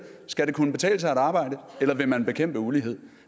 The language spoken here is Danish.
skal det kunne betale sig at arbejde eller vil man bekæmpe ulighed